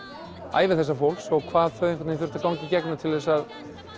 ævi þessa fólks hvað þau þurftu að ganga í gegnum til þess að